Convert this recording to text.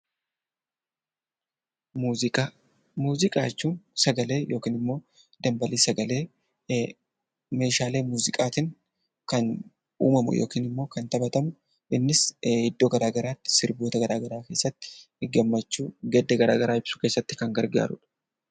Muuziqaa jechuun sagalee yookiin immoo dambalii sagalee meeshaalee muuziqaatiin kan uumamu yookiin immoo kan taphatamu. Innis iddoo garaa garaatti sirboota garaa garaa keessatti gammachuu, gadda garaa garaa ibsuu keessatti kan gargaarudha.